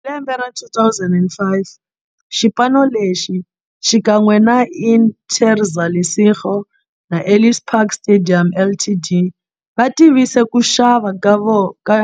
Hi lembe ra 2005, xipano lexi, xikan'we na Interza Lesego na Ellis Park Stadium Ltd, va tivise ku xava ka